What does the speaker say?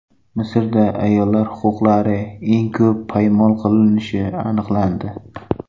Misrda ayollar huquqlari eng ko‘p poymol qilinishi aniqlandi.